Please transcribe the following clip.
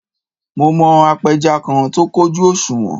Mo mọ apẹja kan tó kójú òṣùwọ̀n